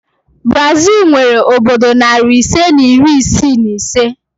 Brazil nwere obodo nari ise na iri isii na ise